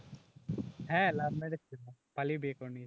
হ্যাঁ love marriage ছিল, পালিয়ে বিয়ে করে নিয়েছে